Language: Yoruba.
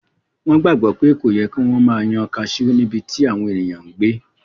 Wọ́n gbàgbọ́ pé kò yẹ kí wọ́n máa yan kaasú níbití àwọn èèyàn n gbé